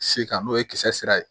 Se kan'o ye kisɛ sira ye